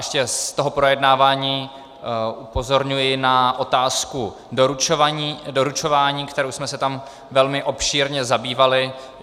Ještě z toho projednávání upozorňuji na otázku doručování, kterou jsme se tam velmi obšírně zabývali.